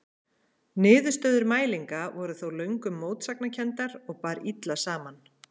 Niðurstöður mælinga voru þó löngum mótsagnakenndar og bar illa saman.